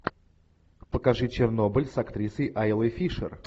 покажи чернобыль с актрисой айлой фишер